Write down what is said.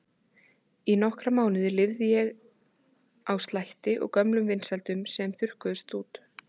Í nokkra mánuði lifði ég á slætti og gömlum vinsældum sem svo þurrkuðust út.